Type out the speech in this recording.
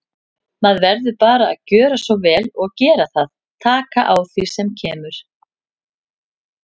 Maður verður bara að gjöra svo vel og gera það, taka á því sem kemur.